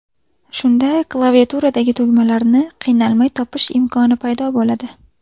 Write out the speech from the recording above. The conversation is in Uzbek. Shunda klaviaturadagi tugmalarni qiynalmay topish imkoni paydo bo‘ladi.